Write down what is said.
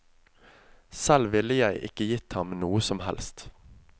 Selv ville jeg ikke gitt ham noe som helst.